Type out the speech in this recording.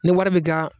Ni wari bɛ ka